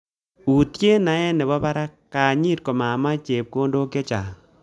Utye naet nebo barak kanyit kokomach chepkondok chechang